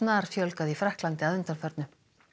snarfjölgað í Frakklandi að undanförnu